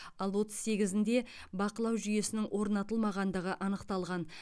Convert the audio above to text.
ал отыз сегізінде бақылау жүйесінің орнатылмағандығы анықталған